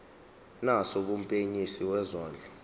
naso kumphenyisisi wezondlo